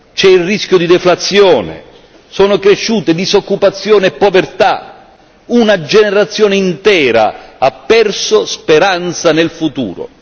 C'è il rischio di deflazione, sono cresciute disoccupazione e povertà, una generazione intera ha perso speranza nel futuro.